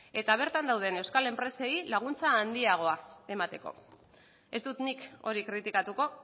eta bertan dauden euskal enpresei laguntza handiagoa emateko ez dut nik hori kritikatuko